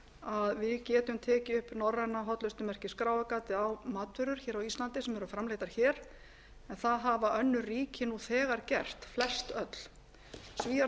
að við getum tekið upp norræna hollustumerkið skráargatið á matvörur á íslandi sem eru framleiddar hér en það hafa önnur ríki þegar gert flestöll svíar